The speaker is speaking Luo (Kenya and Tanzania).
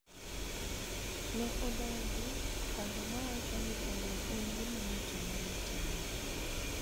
Ne odagi paro ma wacho ni telo en gima ng�ato nyalo timo.